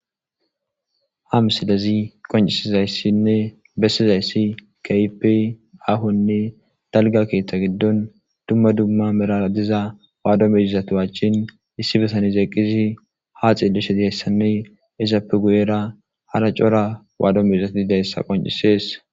ha misilezi qoncisizayssinne bessizayssi kaipi ahonne dalga keeththa giddon dumma dumma meraa diza waadomeizatu achchin issi besanez eqqisi ha xillishe ieyssanne izappe guyera hara cora waadomezati deyssa qoncisees